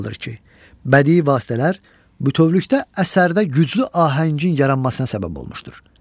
olmalıdır ki, bədii vasitələr bütövlükdə əsərdə güclü ahəngin yaranmasına səbəb olmuşdur.